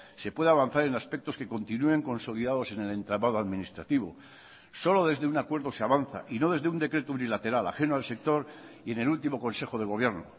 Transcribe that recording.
se puede avanzar en aspectos que continúen consolidados en el entramado administrativo solo desde un acuerdo se avanza y no desde un decreto unilateral ajeno al sector y en el último consejo de gobierno